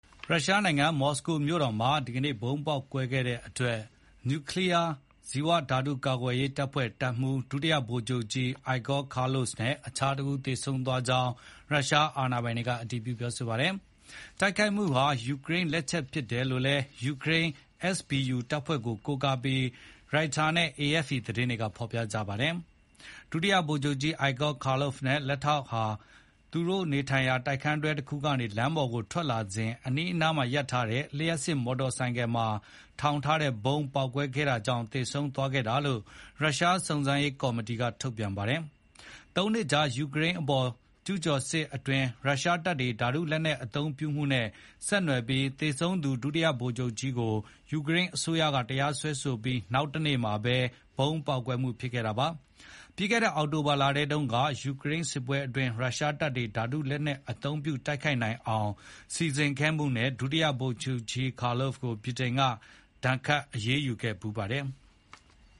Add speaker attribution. Speaker 1: ရုရှားနိုင်ငံ မော်စကိုမြို့တော်မှာ ဒီကနေ့ ဗုံးပေါက်ကွဲခဲ့တဲ့အတွက် နျူကလီးယား၊ ဇီဝနဲ့ဓါတု ကာကွယ်ရေးတပ်ဖွဲ့၊ တပ်မှူး ဒုတိယဗိုလ်ချုပ်ကြီး Igor Kirllov နဲ့ အခြားတဦးသေဆုံးသွားကြောင်း ရုရှားအာဏာပိုင်တွေက အတည်ပြုပါတယ်။တိုက်ခိုက်မှုဟာ ယူကရိန်းလက်ချက် ဖြစ်တယ်လို့လည်း ယူကရိန်း SBU တပ်ဖွဲ့ကို ကိုးကားပြီး Reuters နဲ့ AFP သတင်းတွေက ဖော်ပြခဲ့ကြတာပါ။ ဒုဗိုလ်ချုပ်ကြီး Igor Kirllov နဲ့ လက်ထောက်ဟာ လူနေတိုက်ခန်းတွဲတခုကနေ လမ်းပေါ်ကိုထွက်လာစဉ် အနီးအနားမှာရပ်ထားတဲ့ လျှပ်စစ်မော်တော်ဆိုင်ကယ်မှာထောင်ထားတဲ့ ဗုံးပေါက်ကွဲခဲ့တာကြောင့် သေဆုံးသွားခဲ့တာလို့ ရုရှားစုံစမ်းစစ်ဆေးရေးကော်မတီကထုတ်ပြန်ပါတယ်။ ၃ နှစ်ကြာ ယူကရိန်းအပေါ် ကျူးကျော်စစ်အတွင်း ရုရှားတပ်တွေ ဓာတုလက်နက် အသုံးပြုမှုနဲ့ ဆက်နွယ်ပြီး သေဆုံးသူ ဒုဗိုလ်ချုပ်ကြီးကို ယူကရိန်းအစိုးရကတရားစွဲဆိုပြီး နောက်တနေ့မှာ ဗုံးပေါက်ကွဲမှုဖြစ် ခဲ့တာပါ။ ပြီးခဲ့တဲ့အောက်တိုဘာလထဲတုန်းကလည်း ယူကရိန်းစစ်ပွဲအတွင်း ရုရှားတပ်တွေ ဓါတုလက်နက် အသုံးပြုတိုက်ခိုက်နိုင်အောင် စီစဉ်ခဲ့မှုနဲ့ ဒုဗိုလ်ချုပ်ကြီး Kirllov ကို ဗြိတိန်က ဒဏ်ခတ်အရေးယူခဲ့ ပါသေးတယ်။